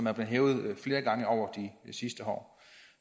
er blevet hævet flere gange over de sidste år